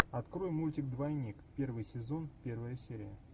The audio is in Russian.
открой мультик двойник первый сезон первая серия